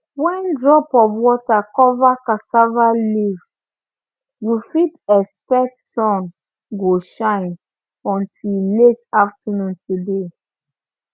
when drop of water cover cassava leaf you fit expect sun go shine until late afternoon today